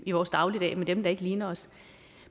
i vores dagligdag med dem der ikke ligner os